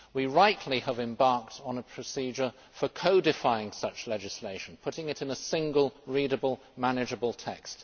We have, rightly, embarked on a procedure for codifying such legislation putting it in a single, readable, manageable text.